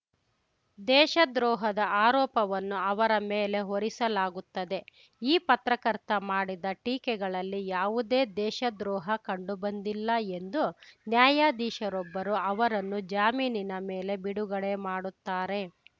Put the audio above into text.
ದೇಶದ್ರೋಹದ ಆರೋಪವನ್ನು ಅವರ ಮೇಲೆ ಹೊರಿಸಲಾಗುತ್ತದೆ ಈ ಪತ್ರಕರ್ತ ಮಾಡಿದ ಟೀಕೆಗಳಲ್ಲಿ ಯಾವುದೇ ದೇಶದ್ರೋಹ ಕಂಡುಬಂದಿಲ್ಲ ಎಂದು ನ್ಯಾಯಾಧೀಶರೊಬ್ಬರು ಅವರನ್ನು ಜಾಮೀನಿನ ಮೇಲೆ ಬಿಡುಗಡೆ ಮಾಡುತ್ತಾರೆ